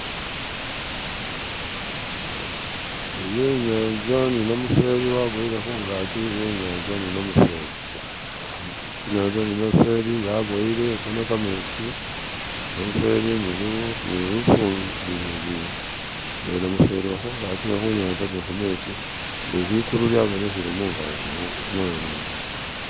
iyi inyanza ni namufeli waboyele hungaki yenyanza hunokametsi ni likulu lyabonehele mungazi muwene mo